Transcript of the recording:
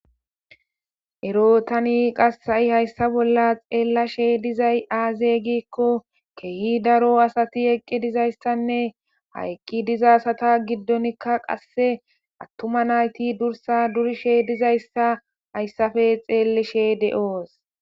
Ero tani qasi ha'I hayissa bolla xellashe dizayi azze gikko kehi daro asati eqqi dizzayissanne ha eqqi dizza asata giddon attuned nayiti durissa durishshe dizayissa hayssappe xellishe de'oos.